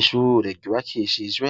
Ishure ryubakishijwe